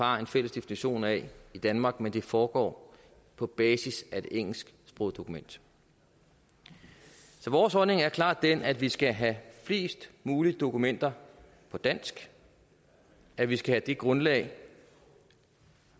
har en fælles definition af i danmark men at det foregår på basis af et engelsksproget dokument så vores holdning er klart den at vi skal have flest mulige dokumenter på dansk at vi skal have det grundlag